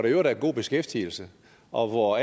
i øvrigt er en god beskæftigelse og hvor